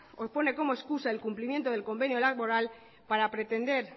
o pone como excusa el cumplimiento del convenio laboral para pretender